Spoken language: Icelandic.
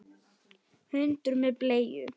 Hundur með bleiu!